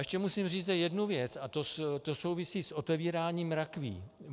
Ještě musím říci jednu věc a ta souvisí s otevíráním rakví.